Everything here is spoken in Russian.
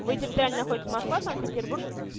вы территориально находитесь москва-санкт-петербург